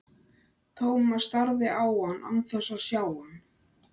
Thomas starði á hann án þess að sjá hann.